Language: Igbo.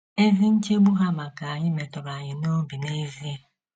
Ezi nchegbu ha maka anyị metụrụ anyị n’obi n’ezie.